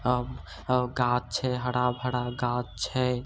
गाछ छै हरा-भरा गाछ छै |